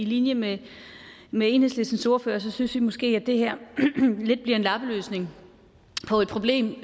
linje med med enhedslistens ordfører synes vi måske at det her lidt bliver en lappeløsning på et problem